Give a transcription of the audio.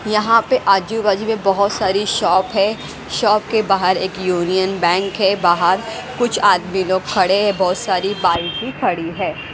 यहां पे आजू बाजू में बहोत सारी शॉप है शॉप के बाहर एक यूनियन बैंक है बाहर कुछ आदमी लोग खड़े हैं बहोत सारी बाइक खड़ी है।